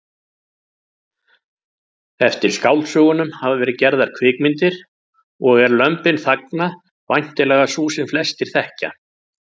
Eftir skáldsögunum hafa verið gerðar kvikmyndir og er Lömbin þagna væntanlega sú sem flestir þekkja.